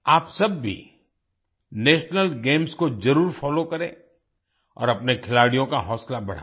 आप सब भी नेशनल गेम्स को जरुर फोलो करें और अपने खिलाड़ियों का हौसला बढाएं